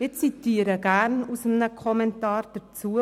Ich zitiere gerne aus einem Kommentar dazu.